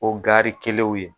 O garikɛlenw ye.